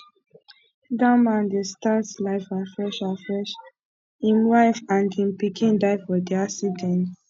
dat man dey start life afresh afresh im wife and im pikin die for di accident